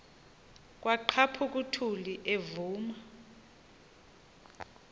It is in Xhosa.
kwaqhaphuk uthuli evuma